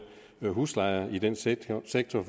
huslejer i den sektor sektor